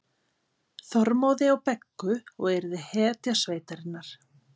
Þormóði og Beggu og yrði hetja sveitarinnar.